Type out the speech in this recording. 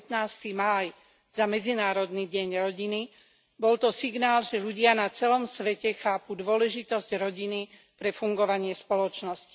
15. máj za Medzinárodný deň rodiny, bol to signál, že ľudia na celom svete chápu dôležitosť rodiny pre fungovanie spoločnosti.